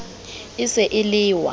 e se e le wa